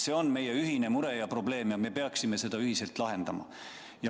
See on meie ühine mure ja probleem ja me peaksime seda ühiselt lahendama.